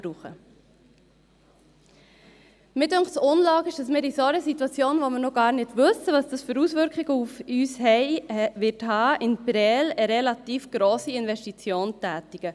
Mich dünkt es unlogisch, dass wir in einer solchen Situation, wo wir noch gar nicht wissen, welche Auswirkungen das auf uns haben wird, in Prêles eine relativ grosse Investition tätigen.